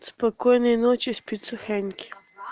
спокойной ночи спецохранники